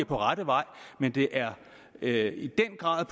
på rette vej men det er er i den grad